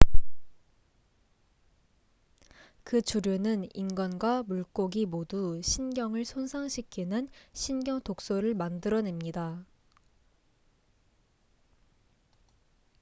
그 조류는 인간과 물고기 모두 신경을 손상시키는 신경독소를 만들어냅니다